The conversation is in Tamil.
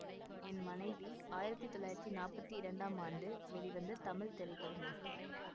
என் மனைவி ஆயிரத்தி தொள்ளாயிரத்தி நாற்பத்தி இரண்டாம் ஆண்டு வெளிவந்த தமிழ் திரைப்படமாகும்